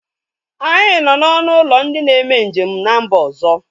Anyị nọ na ọnụ ụlọ ndị na-eme njem n'mba ọzọ